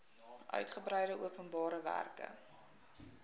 uitgebreide openbare werke